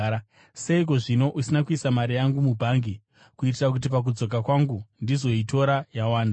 Seiko zvino usina kuisa mari yangu mubhangi, kuitira kuti pakudzoka kwangu ndizoitora yawanda?’